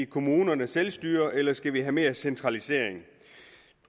kommunerne selvstyre eller vi skal have mere centralisering